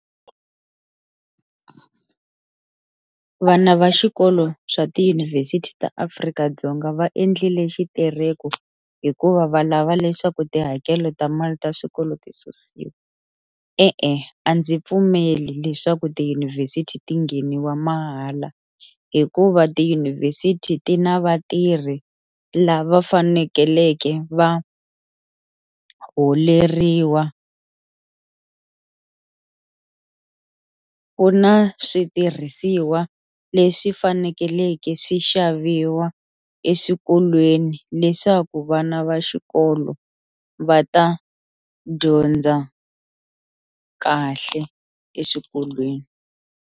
Vana va xikolo swa tiyunivhesiti ta Afrika-Dzonga va endlile xitereko hikuva va lava leswaku tihakelo ta mali ta swikolo ti susiwa, E-e a ndzi pfumeli leswaku tiyunivhesiti ti ngheniwa mahala hikuva tiyunivhesiti ti na vatirhi lava fanekeleke va holeriwa, ku na switirhisiwa leswi fanekeleke swi xaviwa eswikolweni leswaku vana va xikolo va ta dyondza kahle eswikolweni.